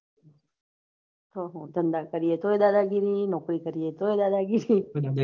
હા હા ધંધા કર્યા તોયે દાદ ગીરી નોકરી કરીએ તો દાદા ગીરી